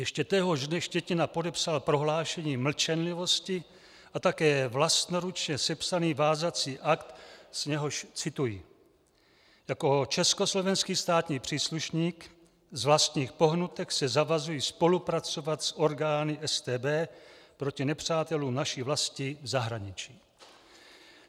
Ještě téhož dne Štětina podepsal prohlášení mlčenlivosti a také vlastnoručně sepsaný vázací akt, z něhož cituji: "Jako československý státní příslušník z vlastních pohnutek se zavazuji spolupracovat s orgány StB proti nepřátelům naší vlasti v zahraničí."